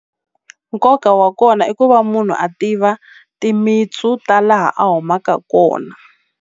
Nkoka wa kona i ku va munhu a tiva timintsu ta laha a humaka kona.